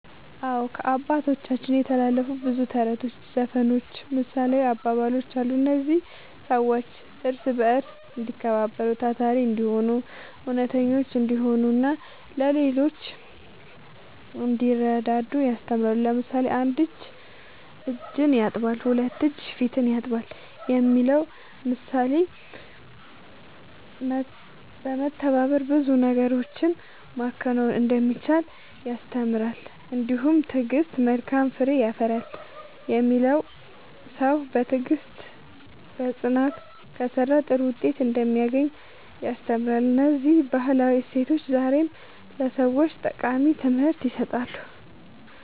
አዎ፣ ከአባቶቻችን የተላለፉ ብዙ ተረቶች፣ ዘፈኖችና ምሳሌያዊ አባባሎች አሉ። እነዚህ ሰዎች እርስ በርስ እንዲከባበሩ፣ ታታሪ እንዲሆኑ፣ እውነተኞች እንዲሆኑና ለሌሎች እንዲረዱ ያስተምራሉ። ለምሳሌ፣ ‘አንድ እጅ እጅን ያጥባል፣ ሁለት እጅ ፊትን ያጥባል’ የሚለው ምሳሌ በመተባበር ብዙ ነገሮችን ማከናወን እንደሚቻል ያስተምራል። እንዲሁም ‘ትዕግሥት መልካም ፍሬ ያፈራል’ የሚለው ሰው በትዕግሥትና በጽናት ከሠራ ጥሩ ውጤት እንደሚያገኝ ያስተምራል። እነዚህ ባህላዊ እሴቶች ዛሬም ለሰዎች ጠቃሚ ትምህርት ይሰጣሉ።"